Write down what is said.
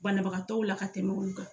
Banabagatɔw la ka tɛmɛ olu kan.